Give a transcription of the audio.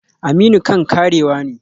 Aminu kan karewa ne?